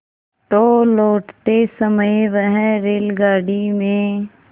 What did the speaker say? तो लौटते समय वह रेलगाडी में